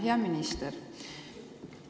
Hea minister!